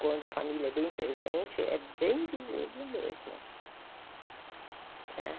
Quando a família é bem presente, é bem visível mesmo né.